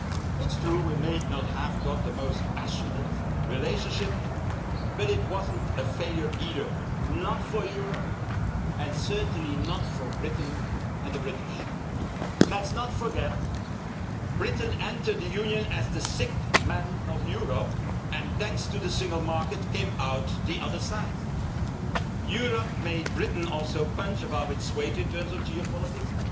It is true, we may not have had the most passionate relationship, but it was not a failure either, not for Europe, and certainly not for Britain and the British. Let us not forget, Britain entered the Union as the sick man of Europe, and thanks to the single market, came out the other side. Europe also made Britain punch above its weight in terms of geopolitics,